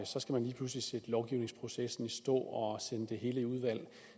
så skal man lige pludselig sætte lovgivningsprocessen i stå og sende det hele i udvalg